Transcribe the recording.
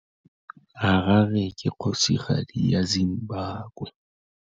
Harare ke kgosigadi ya Zimbabwe.